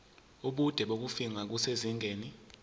ubude bokufingqa kusezingeni